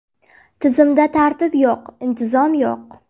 Tizimda tartib yo‘q, intizom yo‘q”.